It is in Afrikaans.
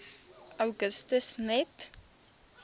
augustus net